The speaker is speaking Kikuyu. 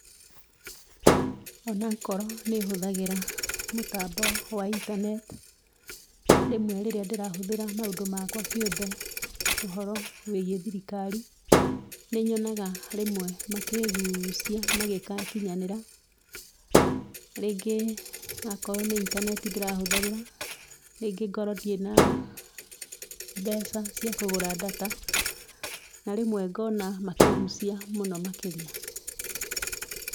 Onakorwo nĩ hũthagĩra mũtambo wa intaneti, rĩmwe rĩrĩa ndĩrahũthĩra maũndũ makwa kĩũmbe ũhoro wĩgiĩ thirikari nĩnyonaga rĩmwe makĩĩgucia mangĩgakinyanĩra, rĩngi akorwo nĩ intaneti ndĩrahũthĩra rĩngĩ ngorwo ndirĩ na mbeca cia kũgura data na rĩmwe ngona makĩĩgucia mũno makĩria.